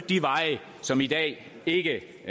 de veje som i dag ikke